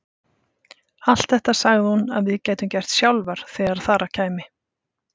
Allt þetta sagði hún að við gætum gert sjálfar þegar þar að kæmi.